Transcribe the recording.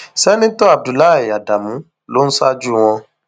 sẹńtítọ abdullahi ádámù ló ń ṣáájú wọn